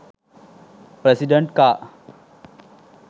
president car